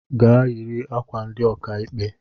Gaa yiri ákwà ndị okaikpe!